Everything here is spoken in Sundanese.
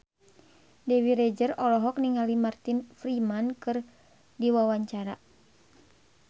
Dewi Rezer olohok ningali Martin Freeman keur diwawancara